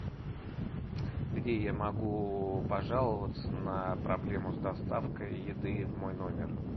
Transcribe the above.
где я могу пожаловаться на проблему с доставкой еды в мой номер